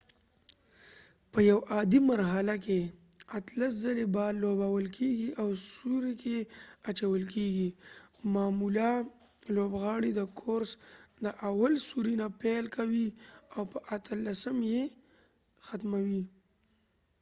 په یو عادي مرحله کې اتلس ځلی بال لوبول کېږی او سوری کې اچول کېږی معمولا لوبغاړی د کورس د اول سوری نه پیل کوي او په اتلسم یې ختموي